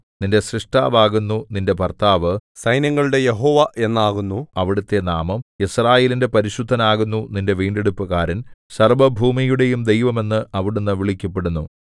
നിന്റെ സ്രഷ്ടാവാകുന്നു നിന്റെ ഭർത്താവ് സൈന്യങ്ങളുടെ യഹോവ എന്നാകുന്നു അവിടുത്തെ നാമം യിസ്രായേലിന്റെ പരിശുദ്ധനാകുന്നു നിന്റെ വീണ്ടെടുപ്പുകാരൻ സർവ്വഭൂമിയുടെയും ദൈവം എന്ന് അവിടുന്ന് വിളിക്കപ്പെടുന്നു